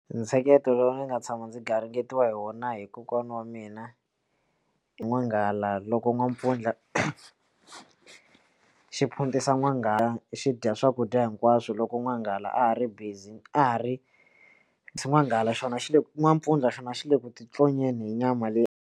Ntsheketo lowu ni nga tshama ndzi garingeriwa hi wona hi kokwana wa mina i N'wanghala loko N'wampfundla xi phuntisa N'wanghala xi dya swakudya hinkwaswo loko N'wanghala a ha ri busy a ha ri N'wanghala xona xi le n'wampfundla xona xi le ku titlonyeni hi nyama leyi.